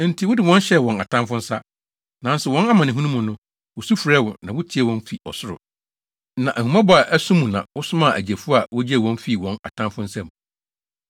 Enti wode wɔn hyɛɛ wɔn atamfo nsa. Nanso wɔn amanehunu mu no, wosu frɛɛ wo, na wutiee wɔn fi ɔsoro. Na ahummɔbɔ a ɛso mu na wosomaa agyefo a wogyee wɔn fii wɔn atamfo nsam.